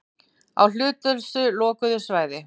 Á hlutlausu lokuðu svæði.